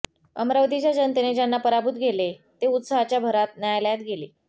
अमरावतीच्या जनतेने ज्यांना पराभूत केले ते उत्साहाच्या भरात न्यायालयात गेले